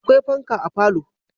Akwai fanka a falo